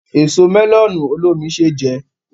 Èso mẹ́lọ̀nù olómi ṣé jẹ